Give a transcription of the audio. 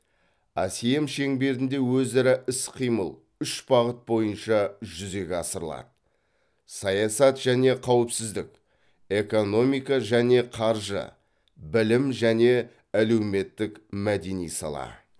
асем шеңберінде өзара іс қимыл үш бағыт бойынша жүзеге асырылады саясат және қауіпсіздік экономика және қаржы білім және әлеуметтік мәдени сала